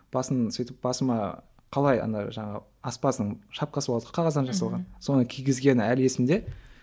басын сөйтіп сосын басыма қалай ана жаңағы аспаздың шапкасы болады ғой қағаздан жасалған соны кигізгені әлі есімде